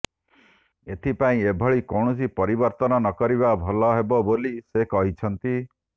ଏଥିପାଇଁ ଏଭଳି କୌଣସି ପରିବର୍ତ୍ତନ ନକରିବା ଭଲ ହେବ ବୋଲି ସେ କହିଛନ୍ତି